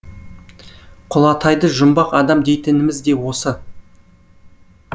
құлатайды жұмбақ адам дейтініміз де осы